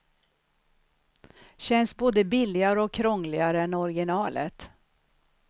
Känns både billigare och krångligare än originalet.